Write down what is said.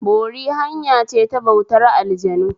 Bori hanyace ta bautar aljanu